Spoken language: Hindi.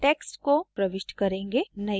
अब हम सम्बंधित texts को प्रविष्ट करेंगे